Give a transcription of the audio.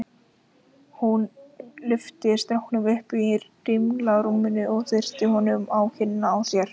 Hún lyfti stráknum upp úr rimlarúminu og þrýsti honum að kinninni á sér.